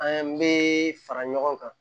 An bɛ fara ɲɔgɔn kan